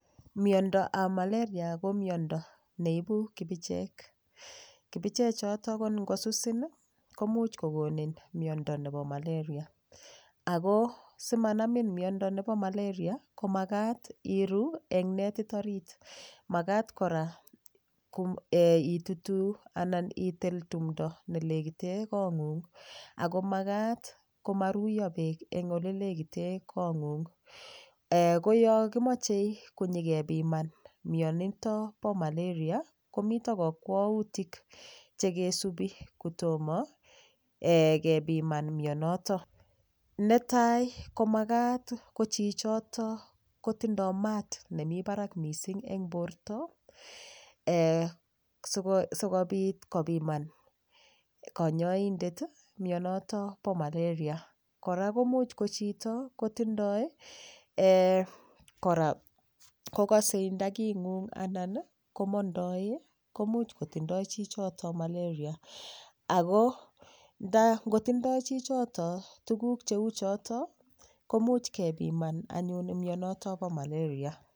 Miondoab malaria ko miondo neibu kibicheek, kibichechoto ko ngosusin ii, komuch kokonin miondo nebo malaria, ako simanamin miondo nebo malaria ko makat iru eng netit orit, makat kora um itutu anan itil tumdo ne lekite kongung, ako makat komaruiyo beek eng olelekite kongung.[um] Ko yo kimoche konyekepiman mionito bo malaria, komito kakwautik che kesupi kotomo kepiman mionoto, netai ko makat ko chichoto kotindoi maat nemi barak mising eng borta um sikobit kopiman kanyaindet ii mionoto bo malaria, kora komuch ko chito kotindoi um kora kokase ndakingung anan ko mondoe komuch kotindoi chichoto malaria, ako nda ngotindoi chichoto tukuk cheu choto komuch kepiman anyun mionoto bo malaria.